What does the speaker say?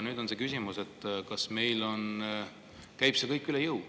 Nüüd on see küsimus, kas see käib meile üle jõu.